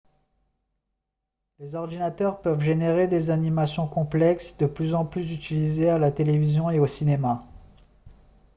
les ordinateurs peuvent générer des animations complexes de plus en plus utilisées à la télévision et au cinéma